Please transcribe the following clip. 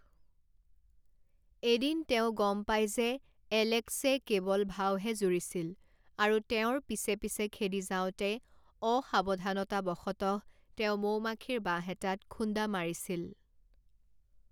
এদিন তেওঁ গম পায় যে এলেক্সে কেৱল ভাওহে জুৰিছিল আৰু তেওঁৰ পিছে পিছে খেদি যাওঁতে অসাৱধানতাৱশতঃ তেওঁ মৌমাখিৰ বাহ এটাত খুন্দা মাৰিছিল।